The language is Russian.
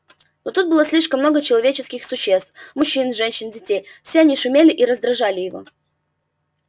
тут было слишком много человеческих существ мужчин женщин детей все они шумели и раздражали его